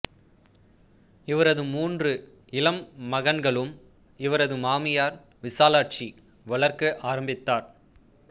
இவரது மூன்று இளம் மகன்களும் இவரது மாமியார் விசாலாட்சி வளர்க்க ஆரம்பித்தார்